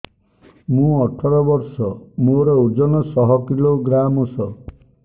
ମୁଁ ଅଠର ବର୍ଷ ମୋର ଓଜନ ଶହ କିଲୋଗ୍ରାମସ